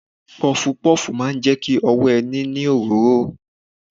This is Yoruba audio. Pọfupọ́ọ̀fù máa jẹ ki ọwọ́ ẹ ní òróró.